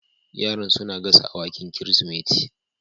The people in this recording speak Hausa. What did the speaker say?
Yaran suna gasa awakin Kirsimeti